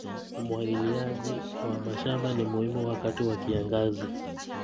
Umwagiliaji wa mashamba ni muhimu wakati wa kiangazi.